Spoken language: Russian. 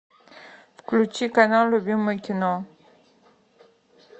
включи канал любимое кино